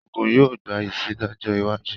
Òògùn yóò gbayì si lọ́jọ́ iwájú